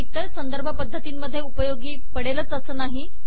हि इतर संदर्भ पद्दतीन मध्ये उपयोगी पडेलच असे नाही